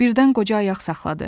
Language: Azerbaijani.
Birdən qoca ayaq saxladı.